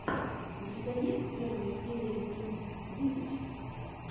у тебя есть первая серия тим вит ы ч